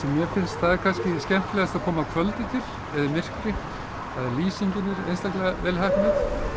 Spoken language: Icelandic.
mér finnst skemmtilegast er að koma á kvöldi til í myrkri lýsingin er einstaklega vel heppnuð